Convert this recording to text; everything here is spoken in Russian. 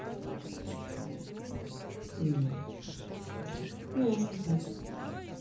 ну ясно